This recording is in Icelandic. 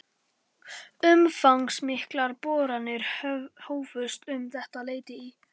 Umfangsmiklar boranir hófust um þetta leyti í